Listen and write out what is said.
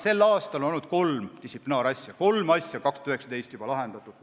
Sel aastal on olnud kolm distsiplinaarasja, kolm asja on juba lahendatud.